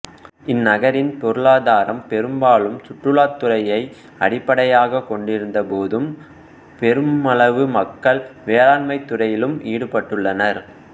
இந் நகரின் பொருளாதாரம் பெரும்பாலும் சுற்றுலாத்துறையை அடிப்படையாகக் கொண்டிருந்த போதும் பெருமளவு மக்கள் வேளாண்மைத் துறையிலும் ஈடுபட்டுள்ளனர்